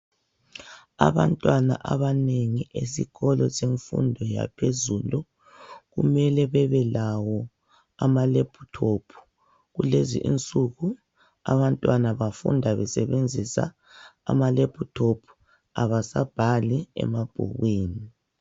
Abantwana abanengi bezikolo zemfundo yaphezulu kumele bebe lawo amalephuthophu, kulezi insuku abantwana bafunda besebenzisa amalephuthophu abasabhali emabhukwini.